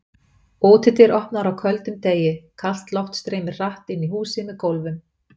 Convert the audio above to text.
Útidyr opnaðar á köldum degi, kalt loft streymir hratt inn í húsið með gólfum.